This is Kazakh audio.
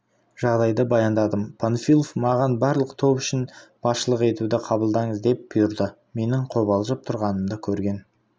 жағдайды баяндадым панфилов маған барлық топ үшін басшылық етуді қабылдаңыз деп бұйырды менің қобалжып тұрғанымды көрген